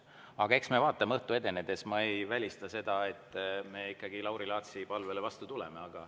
Aga eks me õhtu edenedes vaatame, ma ei välista seda, et me Lauri Laatsi palvele ikkagi vastu tuleme.